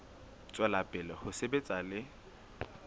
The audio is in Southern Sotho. tswela pele ho sebetsa le